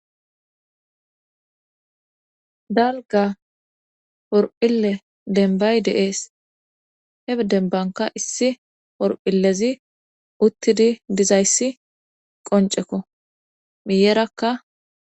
Dalga horephile denbay deees heb denbanka issi por7illezi uttidi dizayssi qoncekko miyeerakka.